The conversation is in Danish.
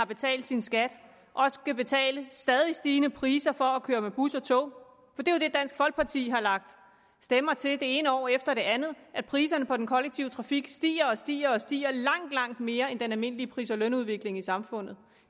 betalt sin skat skal betale stadig stigende priser for at køre med bus og tog for det er jo det dansk folkeparti har lagt stemmer til det ene år efter det andet at priserne på den kollektive trafik stiger og stiger og stiger langt langt mere end den almindelige pris og lønudvikling i samfundet